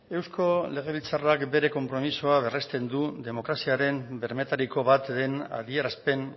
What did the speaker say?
eusko legebiltzarrak bere konpromisoa berresten du demokraziaren bermeetariko bat den adierazpen